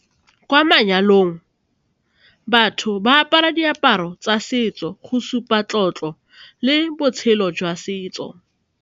Kwa manyalong batho ba apara diaparo tsa setso go supa tlotlo le botshelo jwa setso.